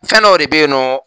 Fɛn dow de bɛ yen nɔ.